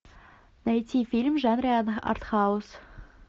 найти фильм в жанре артхаус